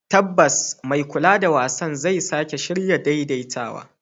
Tabbas, mai kula da wasan zai shirya sake daidaitawa.